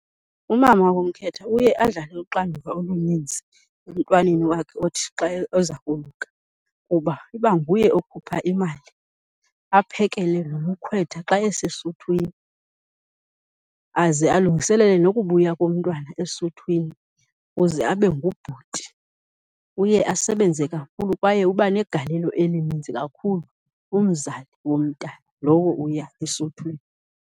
Umama womkhwetha uye adlale uxanduva oluninzi emntwaneni wakhe othi xa eza koluka kuba iba nguye okhupha imali, aphekele nomkhwetha xa esesuthwini. Aze alungiselele nokubuya komntwana esuthwini kuze abe ngubhuti. Uye asebenze kakhulu kwaye uba negalelo elininzi kakhulu umzali womntana lowo uya esuthwini.